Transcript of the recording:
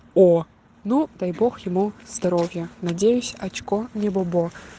о ну дай бог ему здоровья надеюсь очко не бобо